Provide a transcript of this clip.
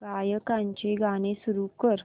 गायकाचे गाणे सुरू कर